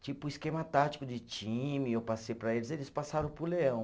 Tipo esquema tático de time, eu passei para eles, eles passaram para o Leão.